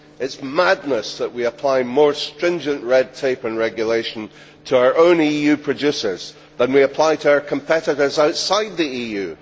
It is madness that we apply more stringent red tape and regulation to our own EU producers than we apply to our competitors outside the EU.